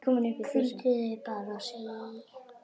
Hvíldu þig bara, segi ég.